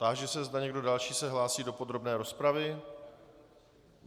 Táži se, zda někdo další se hlásí do podrobné rozpravy.